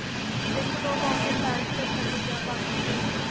ਇੱਕ ਦੋ ਕਾਪੀਆਂ bag 'ਚ ਰੱਖਣ ਲਈ ਕਿਹਾ ਬਾਕੀ ਤੇ,